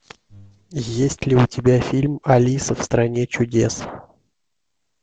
есть ли у тебя фильм алиса в стране чудес